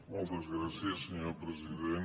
moltes gràcies senyor president